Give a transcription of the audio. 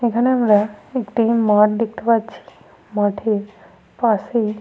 এখানে আমরা একটি মাঠ দেখতে পাচ্ছি। মাঠে পাশেই --